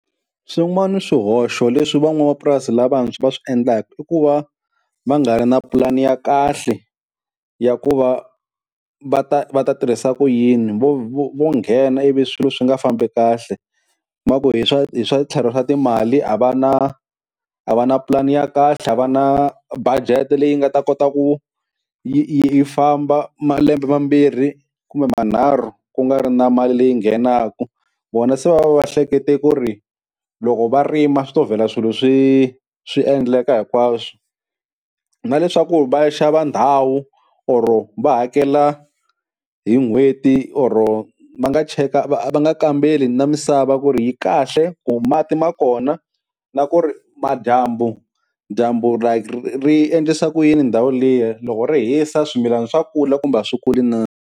Swin'wani swihoxo leswi van'wamapurasi lavantshwa va swi endlaka, i ku va va nga ri na pulani ya kahle ya ku va va ta va ta tirhisa ku yini vo vo vo nghena ivi swilo swi nga fambi kahle, va ku hi swa hi swa tlhelo swa timali a va na a va na pulani ya kahle a va na budget leyi nga ta kota ku yi yi yi famba malembe mambirhi kumbe manharhu ku nga ri na mali leyi nghenaka, vona se va va va hlekete ku ri loko va rima swi to vhela swilo swi swi endleka hinkwaswo, na leswaku va ya xava ndhawu or va hakela hi n'hweti or va nga cheka va va nga kambeli na misava ku ri yi kahle, ku mati ma kona, na ku ri madyambu dyambu like ri endlisa ku yini ndhawu liya loko ri hisa swimilana swa kula kumbe a swi kuli na.